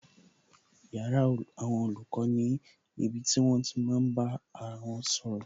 Yàrá àwọn olùkọ́ ni ibi tí wón ti máa bá ara wọn sọ̀rọ̀